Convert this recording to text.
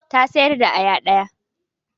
Ta sayar da aya da.